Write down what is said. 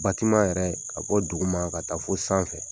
Batima yɛrɛ ka bɔ duguma ka taa fo sanfɛ.